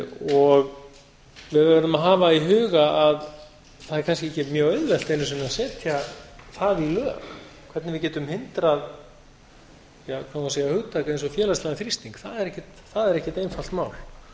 og við verðum að hafa í huga að það er kannski ekki mjög auðvelt einu sinni að setja það í lög hvernig við getum hindrað hvað má segja hugtak eins og félagslegan þrýsting það er ekkert einfalt mál við